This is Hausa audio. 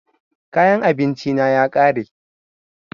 Kayan abinci na ya ƙare